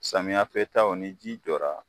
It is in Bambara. Samiyɛ fɛ ta wo ni ji jɔra